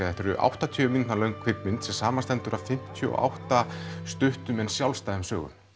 þetta er áttatíu mínútna kvikmynd sem samanstendur af fimmtíu og átta stuttum en sjálfstæðum sögum